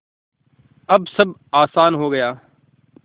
अब सब आसान हो गया